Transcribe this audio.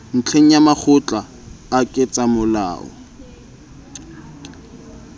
ntlheng ya makgotla a ketsamolao